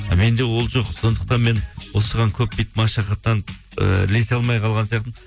менде ол жоқ сондықтан мен осыған көп бүйтіп машақаттанып і ілесе алмай қалған сияқтымын